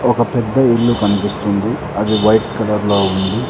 ఒక పెద్ద ఇల్లు కనిపిస్తుంది అది వైట్ కలర్ లో ఉంది.